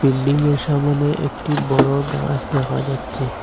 বিল্ডিংয়ের সামনে একটি বড় গাস দেখা যাচ্ছে।